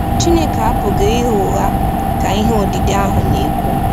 “Chineke apụghị ịgha ụgha ,” ka ihe odide ahụ na-ekwu.